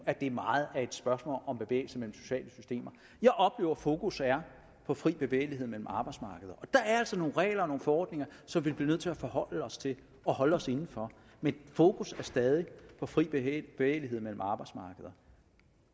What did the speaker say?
at det meget er et spørgsmål om bevægelse mellem sociale systemer jeg oplever at fokus er på fri bevægelighed mellem arbejdsmarkeder og der er altså nogle regler og nogle forordninger som vi bliver nødt til at forholde os til og holde os inden for men fokus er stadig på fri bevægelighed mellem arbejdsmarkeder